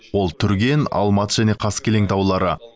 ол түрген алматы және қаскелең таулары